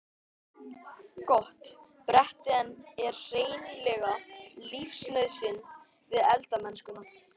Gott bretti er hreinlega lífsnauðsyn við eldamennskuna.